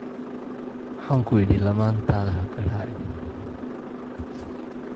Waxaan ku idhi lamaantaada ha garaacin.